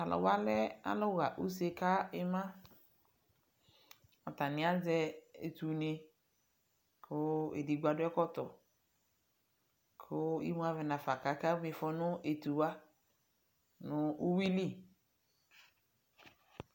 tʊ alʊwa lɛ alʊ ɣa use kʊ ima, atanɩ azɛ etunɩ, kʊ edigbo akɔ ɛkɔtɔ, kʊ imawanɩ nafa kʊ akama ifɔ nʊ etuwa, nʊ iwili